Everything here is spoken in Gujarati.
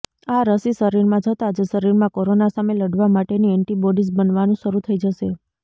આ રસી શરીરમાં જતા જ શરીરમાં કોરોના સામે લડવા માટેની એન્ટીબોડીઝ બનવાનું શરૂ થઈ જશે